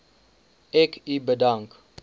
ek u bedank